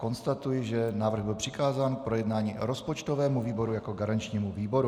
Konstatuji, že návrh byl přikázán k projednání rozpočtovému výboru jako garančnímu výboru.